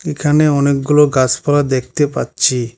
এখানে অনেকগুলো গাছপালা দেখতে পাচ্ছি।